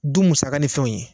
Du musaga ni fɛnw ye